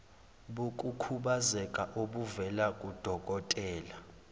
bokukhubazeka obuvela kudokotela